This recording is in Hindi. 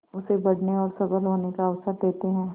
उसे बढ़ने और सबल होने का अवसर देते हैं